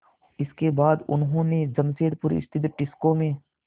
इसके बाद उन्होंने जमशेदपुर स्थित टिस्को में